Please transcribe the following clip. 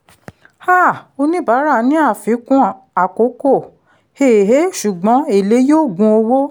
um oníbàárà ní àfikún àkókò um ṣùgbọ́n èlé yóò gun owó.